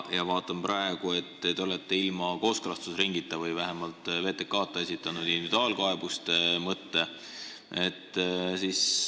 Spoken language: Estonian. Ja praegu ma vaatan, et te olete ilma kooskõlastusringita või vähemalt VTK-ta esitanud individuaalkaebuste mõtte.